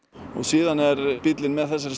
og síðan er bíllinn með þessari